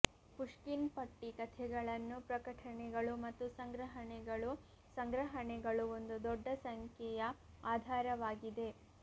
Pushkin ಪಟ್ಟಿ ಕಥೆಗಳನ್ನು ಪ್ರಕಟಣೆಗಳು ಮತ್ತು ಸಂಗ್ರಹಣೆಗಳು ಸಂಗ್ರಹಣೆಗಳು ಒಂದು ದೊಡ್ಡ ಸಂಖ್ಯೆಯ ಆಧಾರವಾಗಿದೆ